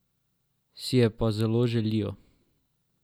Si je pa zelo želijo.